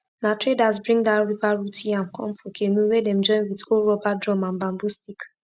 na traders bring dat river root yam come for canoe wey dem join with old rubber drum and bamboo stick